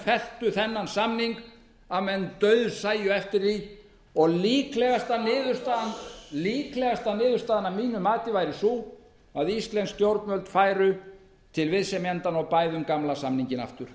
menn felldu þennan samning að menn dauðsæju eftir því og líklegasta niðurstaðan að mínu mati væri sú að íslensk stjórnvöld færu til viðsemjendanna og bæðu um gamla samninginn aftur